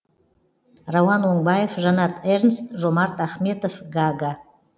рауан оңбаев жанат эрнст жомарт ахметов гага